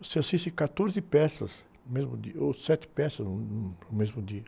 Você assiste quatorze peças no mesmo dia, ou sete peças no, no, no mesmo dia.